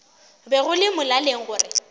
be go le molaleng gore